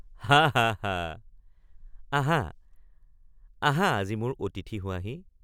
হাঃ হাঃ হাঃ আহা আহা আজি মোৰ অতিথি হোৱাহি।